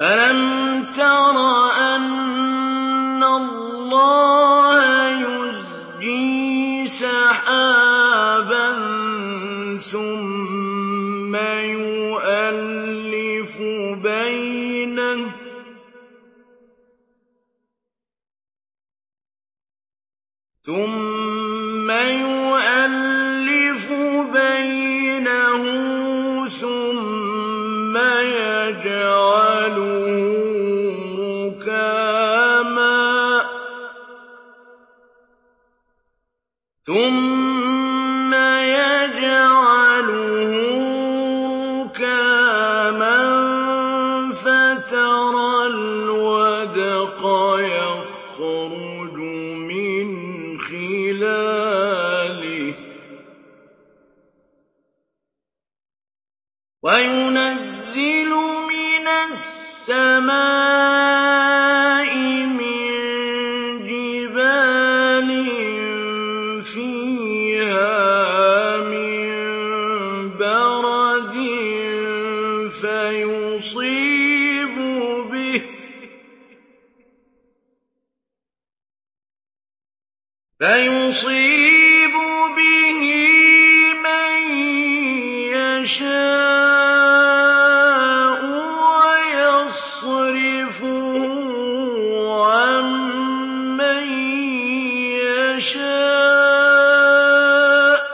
أَلَمْ تَرَ أَنَّ اللَّهَ يُزْجِي سَحَابًا ثُمَّ يُؤَلِّفُ بَيْنَهُ ثُمَّ يَجْعَلُهُ رُكَامًا فَتَرَى الْوَدْقَ يَخْرُجُ مِنْ خِلَالِهِ وَيُنَزِّلُ مِنَ السَّمَاءِ مِن جِبَالٍ فِيهَا مِن بَرَدٍ فَيُصِيبُ بِهِ مَن يَشَاءُ وَيَصْرِفُهُ عَن مَّن يَشَاءُ ۖ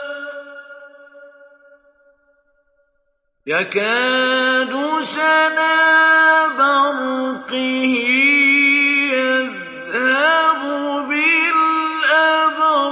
يَكَادُ سَنَا بَرْقِهِ يَذْهَبُ بِالْأَبْصَارِ